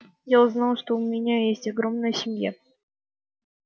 я узнал что у меня есть огромная семья